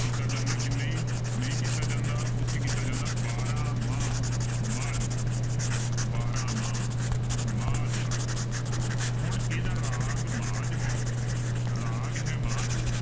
ਕੀਤਾ ਜਾਂਦਾ ਕਿ ਨਹੀਂ, ਨਹੀਂ ਕੀਤਾ ਜਾਂਦਾ ਉੱਥੇ ਕੀਤਾ ਜਾਂਦਾ ਬਾਰਾਂਮਾਂਹ ਮਾਝ ਦਾ ਬਾਰਾਂਮਾਂਹ ਮਾਝ ਦਾ ਹੁਣ ਇਹਦਾ ਰਾਗ ਮਾਝ ਹੈ ਰਾਗ ਹੈ ਮਾਝ